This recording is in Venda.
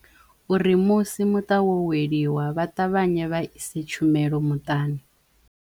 Uri musi muṱa wo weliwa vha ṱavhanye vha ise tshumelo muṱani.